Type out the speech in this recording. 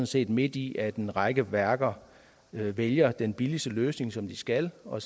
set midt i at en række værker vælger den billigste løsning som de skal og